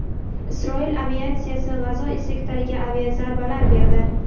Isroil aviatsiyasi G‘azo sektoriga aviazarbalar berdi.